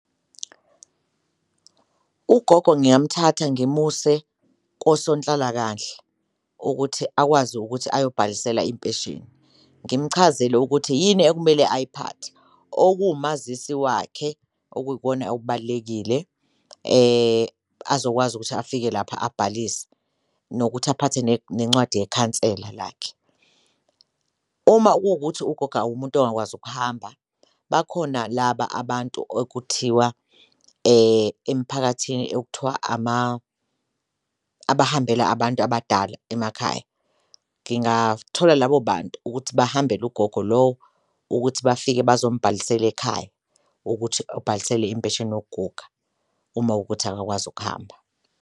Ugogo ngingamthatha ngimuse kosonhlalakahle ukuthi akwazi ukuthi ayobhalisela impesheni, ngimchazele ukuthi yini ekumele ayiphathe okuwumazisi wakhe okuyikona okubalulekile azokwazi ukuthi afike lapha abhalise, nokuthi aphathe nencwadi yekhansela lakhe. Uma kuwukuthi ugogo umuntu ongakwazi ukuhamba bakhona laba abantu okuthiwa emiphakathini okuthiwa abahambela abantu abadala emakhaya, ngingathola labo bantu ukuthi bahambele ugogo lowo, ukuthi bafike bazomubhalisela ekhaya. Ukuthi bhalisele impesheni yokuguga uma ukuthi akakwazi ukuhamba.